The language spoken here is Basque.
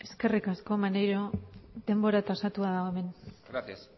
eskerrik asko maneiro denbora tasatua dago hemen gracias